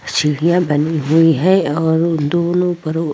सीड़िया बनी हुई है और दोनों --